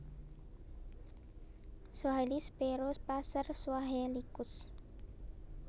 Swahili Sparrow Passer suahelicus